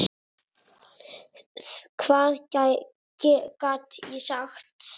Hvað gat ég sagt?